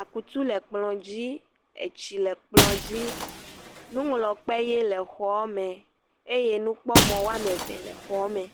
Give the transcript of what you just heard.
akutu le kplɔ dzi, etsi le kplɔ dzi eye nuŋlɔkpe ʋi le xɔa me eye nukpɔmɔ woame eve le xɔa me.